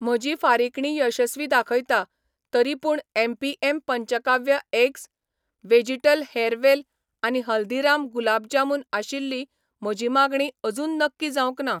म्हजी फारिकणी यशस्वी दाखयता, तरीपूण एम.पी.एम पंचकाव्य एग्ज, व्हॅजीटल हॅरवेल आनी हल्दीराम गुलाब जामुन आशिल्ली म्हजी मागणी अजून नक्की जावंक ना